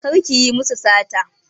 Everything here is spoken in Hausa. Kar ki yi musu sata!